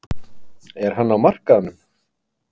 Er hann á markaðnum?